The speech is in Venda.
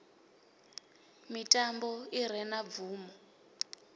mitambo i re na bvumo